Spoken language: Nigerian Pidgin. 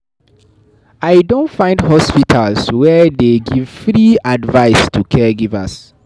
I don find hospitals wey dey give free advice to caregivers.